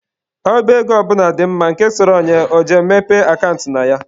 Ọba ego ọ bụla dị mma, nke sọrọ onye, ọ je mepee akant na ya.